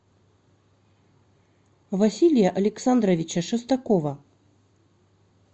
василия александровича шестакова